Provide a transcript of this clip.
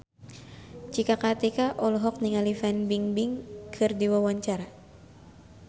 Cika Kartika olohok ningali Fan Bingbing keur diwawancara